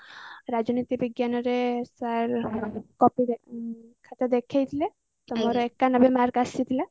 ରାଜନୀତି ବିଜ୍ଞାନରେ sir copy ଖାତା ଦେଖେଇଥିଲେ ତ ମୋର mark ଆସିଥିଲା